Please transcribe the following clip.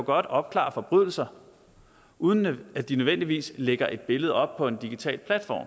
opklare forbrydelser uden at de nødvendigvis lægger et billede op på en digital platform